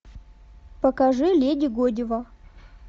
покажи леди годива